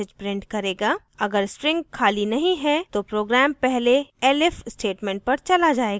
अगर string खाली नहीं है तो program पहले elif statement पर चला जायेगा